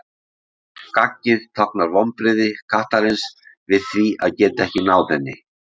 Gaggið táknar vonbrigði kattarins við því að geta ekki náð henni.